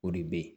O de bɛ yen